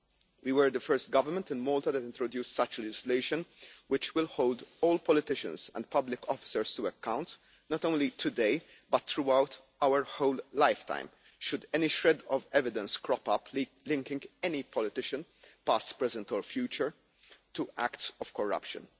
We were the first government in Malta that introduced such legislation, which will hold all politicians and public officers to account, not only today but throughout our whole life time, should any shred of evidence crop up linking any politician past, present or future to acts of corruption.